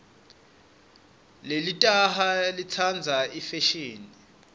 lelitaha litsandza ifeshini